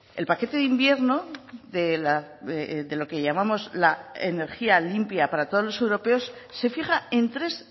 el paquete de invierno de lo que llamamos la energía limpia para todos los europeos se fija en tres